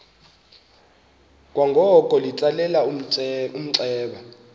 kwangoko litsalele umnxeba